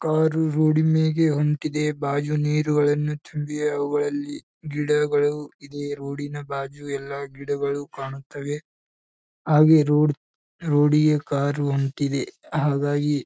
car road ಮೇಗೆ ಹೊಂಟಿದೆ ಬಾಗಿಲು ನೀರುಗಳನ್ನು ತುಂಬಿವೆ ಅವುಗಳಲ್ಲಿ ಗಿಡಗಳು ಇಲ್ಲಿ ರೋಡಿನ ಬಾಜು ಎಲ್ಲಾ ಗಿಡಗಳು ಕಾಣುತ್ತವೆ ಹಾಗೆ ರೋಡ್ ರೋಡಿಗೆ ಕಾರು ಹೊಂಟಿದೆ ಹಾಗಾಗಿ--